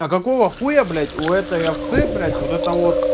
а какого хуя блять у этой овцы блять вот это вот